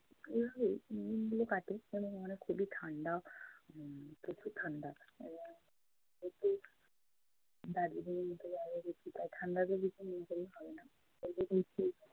এভাবেই দিন গুলো কাটে। এবং এখানে খুবই ঠান্ডা উম প্রচুর ঠান্ডা উম দার্জিলিং ঠান্ডা